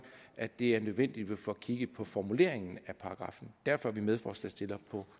at det er nødvendigt at få kigget på formuleringen af paragraffen derfor er konservative medforslagsstillere på